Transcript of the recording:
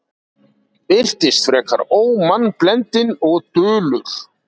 Virtist frekar ómannblendinn og dulur.